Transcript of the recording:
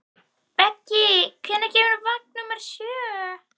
Beggi, hvenær kemur vagn númer sjö?